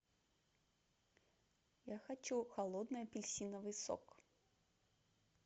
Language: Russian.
я хочу холодный апельсиновый сок